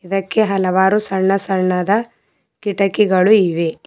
ಇದಕ್ಕೆ ಹಲವಾರು ಸಣ್ಣ ಸಣ್ಣದ ಕಿಟಕಿಗಳು ಇವೆ.